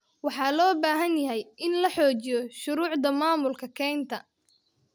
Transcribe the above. Waxaa loo baahan yahay in la xoojiyo shuruucda maamulka kaynta.